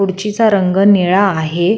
खुडची चा रंग निळा आहे.